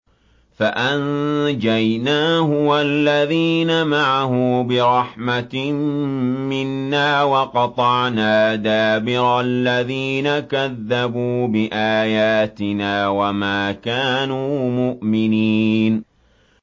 فَأَنجَيْنَاهُ وَالَّذِينَ مَعَهُ بِرَحْمَةٍ مِّنَّا وَقَطَعْنَا دَابِرَ الَّذِينَ كَذَّبُوا بِآيَاتِنَا ۖ وَمَا كَانُوا مُؤْمِنِينَ